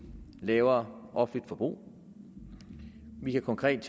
lavere offentligt forbrug vi kan konkret